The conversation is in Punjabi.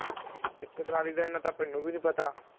ਇਕ ਟਰਾਲੀ ਦਾ ਇੰਨਾ ਤਾ ਮੈਨੂੰ ਵੀ ਨਹੀਂ ਪਤਾ